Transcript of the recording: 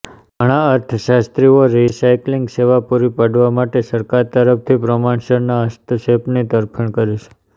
ઘણાં અર્થશાસ્ત્રીઓ રિસાયક્લિંગ સેવા પૂરી પાડવા માટે સરકાર તરફથી પ્રમાણસરના હસ્તક્ષેપની તરફેણ કરે છે